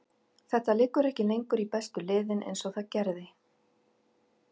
Þetta liggur ekki lengur í bestu liðin eins og það gerði.